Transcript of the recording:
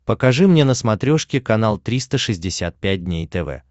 покажи мне на смотрешке канал триста шестьдесят пять дней тв